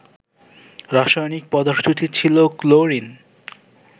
রাসায়নিক পদার্থটি ছিল ক্লোরিন